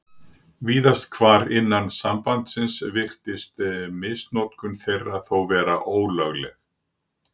Víðast hvar innan sambandsins virðist misnotkun þeirra þó vera ólögleg.